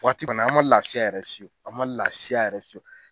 Waati banna an man laafiya yɛrɛ fiyewu an man laafiya yɛrɛ fiyewu.